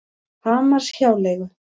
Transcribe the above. Hamarshjáleigu